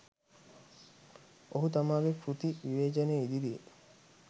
ඔහු තමාගේ කෘති විවේචනය ඉදිරියේ